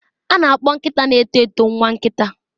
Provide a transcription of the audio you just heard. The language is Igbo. A na-akpọ nkịta na-eto eto nwa nkita.